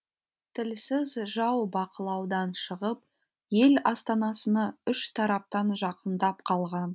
тілсіз жау бақылаудан шығып ел астанасына үш тараптан жақындап қалған